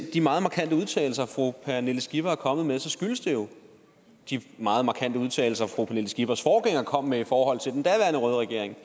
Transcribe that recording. de meget markante udtalelser fru pernille skipper er kommet med så skyldes det jo de meget markante udtalelser fru pernille skippers forgænger kom med i forhold til den daværende røde regering